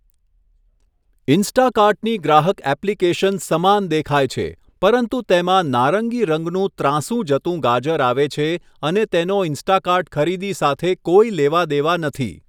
ઇન્સ્ટાકાર્ટની ગ્રાહક એપ્લિકેશન સમાન દેખાય છે પરંતુ તેમાં નારંગી રંગનું ત્રાંસું જતું ગાજર આવે છે અને તેનો ઇન્સ્ટાકાર્ટ ખરીદી સાથે કોઈ લેવા દેવા નથી.